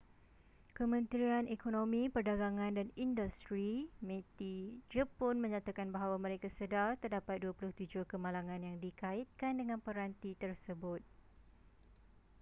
kementerian ekonomi perdagangan dan industri meti jepun menyatakan bahawa mereka sedar terdapat 27 kemalangan yang dikaitkan dengan peranti tersebut